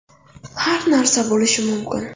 Har narsa bo‘lishi mumkin.